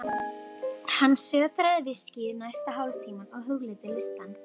Hann sötraði viskíið næsta hálftímann og hugleiddi listann.